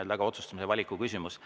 Eks see on otsustamise ja valiku küsimus.